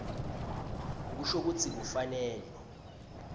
kusho kutsi kufanele